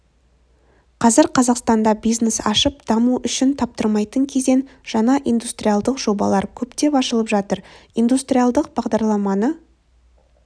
қазір қазақстанда бизнес ашып даму үшін таптырмайтын кезең жаңа индустриалдық жобалар көптеп ашылып жатыр индустриалдық бағдарламаны